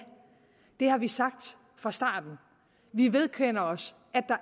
det har vi sagt fra starten vi vedkender os at